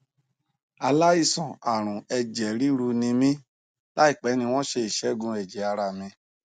aláìsàn arun eje riru ni mí láìpẹ ni wọn ṣe ìṣẹgùn ẹjẹ ara mi